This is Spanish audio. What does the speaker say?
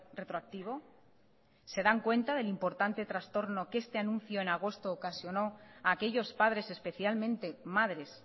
retroactivo se dan cuenta del importante trastorno que este anuncio en agosto ocasionó a aquellos padres especialmente madres